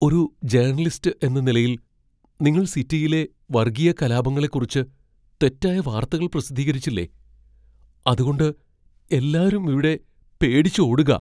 ഒരു ജേൺലിസ്റ്റ് എന്ന നിലയിൽ നിങ്ങൾ സിറ്റിയിലെ വർഗീയ കലാപങ്ങളെക്കുറിച്ച് തെറ്റായ വാർത്തകൾ പ്രസിദ്ധീകരിച്ചില്ലേ? അതുകൊണ്ട് എല്ലാരും ഇവിടെ പേടിച്ച് ഓടുകാ.